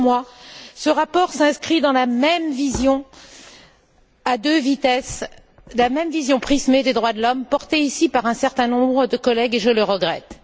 Mais pour moi, ce rapport s'inscrit dans la même vision à deux vitesses, la même vision prismée des droits de l'homme, portée ici par un certain nombre de collègues, et je le regrette.